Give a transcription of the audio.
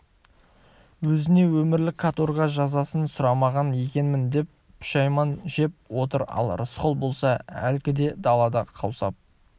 өзіне өмірлік каторга жазасын сұрамаған екенмін деп пұшәйман жеп отыр ал рысқұл болса әлгіде далада қаусап